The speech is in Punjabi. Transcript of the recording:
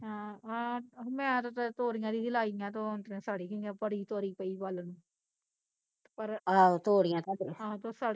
ਹਾਂ ਹਾਂ, ਮੈਂ ਤਾਂ ਓਦਾ ਤੋਰੀਆਂ ਜਹੀ ਦੀਆਂ ਲਾਈਆ ਤੇ ਉਹ ਅੰਦਰੋਂ ਸੜ ਈ ਗਈਆ ਬੜੀ ਤੋਰੀ ਪਈ ਵੱਲ ਨੂੰ ਪਰ ਹਾਂ ਤੇ ਉਹ ਸੜਗਈ